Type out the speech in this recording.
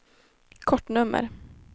kortnummer